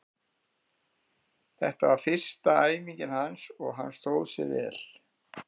Þetta var fyrsta æfingin hans og hann stóð sig vel.